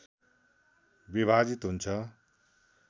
विभाजित हुन्छ